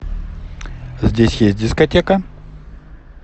здесь есть дискотека